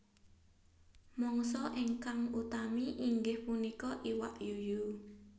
Mangsa ingkang utami inggih punika iwak yuyu